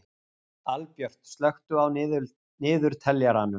Albjört, slökktu á niðurteljaranum.